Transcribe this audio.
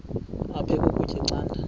aphek ukutya canda